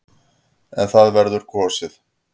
En það verður kosið.